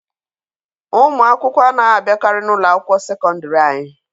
Ụmụ akwụkwọ anaghị abiakari na ụlọ akwụkwọ sekọndiri anyị.